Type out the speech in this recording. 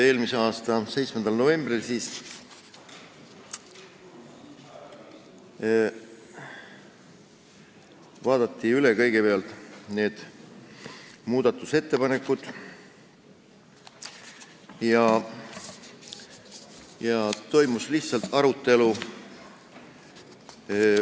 Eelmise aasta 7. novembril vaadati kõigepealt üle muudatusettepanekud ja toimus lihtsalt arutelu.